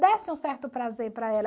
Desse um certo prazer para ela.